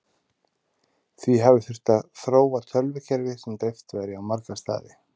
því hafi þurft að þróa tölvukerfi sem dreift væri á marga staði